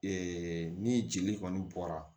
ni jeli kɔni bɔra